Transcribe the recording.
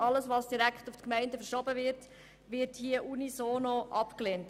Alles, was direkt zu den Gemeinden verschoben wird, wird hier unisono abgelehnt.